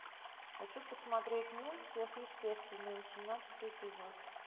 хочу посмотреть мульт сверхъестественное восемнадцатый эпизод